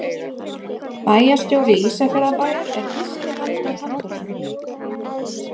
Bæjarstjóri Ísafjarðarbæjar er Gísli Halldór Halldórsson.